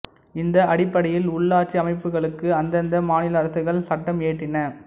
இந்த அடிப்படையில் உள்ளாட்சி அமைப்புகளுக்கு அந்தந்த மாநில அரசுகள் சட்டம் இயற்றின